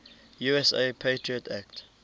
usa patriot act